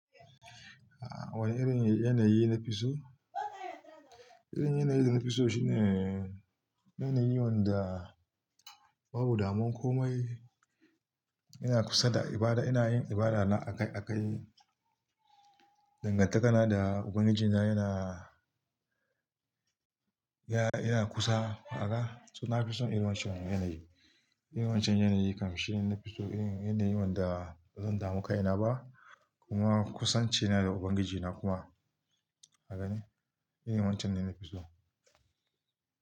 A wane irin yanayi na fi so? Irin yanayi da na fi so shine yanayi wanda babu damuwan komai. Ina kusa da ibada, ina yin ibada na akai-akai. Dangantakana da Ubangijina yana, yana kusa. Kaga, to na fi son irin wancan yanayi. Irin wancan yanayi kam shine na fi so. Irin yanayi wanda bazan damu kai na ba kuma kusanci na da Ubangiji na kuma. Haka ne, irin wancan ne na fi so.